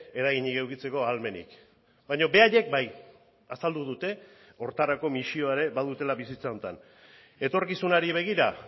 eraginik edukitzeko ahalmenik baina beraiek bai azaldu dute horretarako misioa ere badutela bizitza honetan etorkizunari begira